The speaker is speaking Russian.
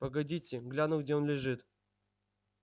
погодите гляну где он лежит